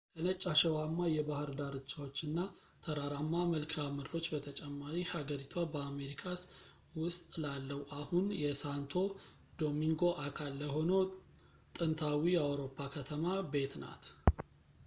ከነጭ አሸዋማ የባህር ዳርቻዎች እና ተራራማ መልከዓ ምድሮች በተጨማሪ ሀገሪቷ በአሜሪካስ ውስጥ ላለው አሁን የሳንቶ ዶሚንጎ አካል ለሆነው ጥንታዊ የአውሮፓ ከተማ ቤት ናት